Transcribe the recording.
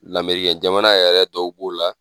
Lamerikɛn jamana yɛrɛ tɔw b'o la.